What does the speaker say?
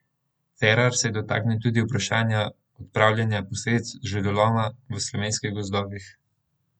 Cerar se je dotaknil tudi vprašanja odpravljanja posledic žledoloma v slovenskih gozdovih.